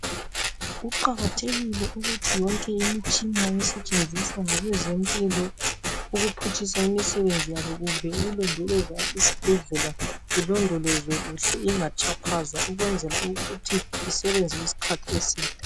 Kuqakathekile ukuthi yonke imitshina esetshenziswa ngabezempilo ukuphutshisa imisebenzi yabo kumbe ukulondoloza isibhedlela ilondolozwe kuhle ingatshaphazwa ukwenzela ukuthi isebenze isikhathi eside.